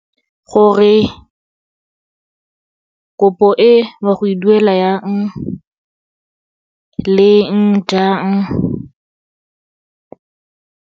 Gore kopo e o a go e duela yang, leng, jang.